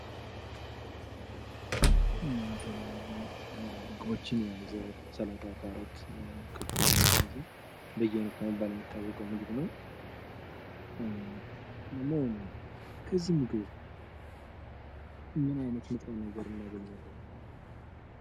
የተለያዩ ምግቦችን የያዘ ስላጣ፣ ካሮት፣ ክኮችን የያዘ በየአይነት በመባል የሚታወቀው ምግብ ነው። ለመሆኑ ከዚህ ምግብ ምን አይነት ንጥረ ነገር እናገኛለን።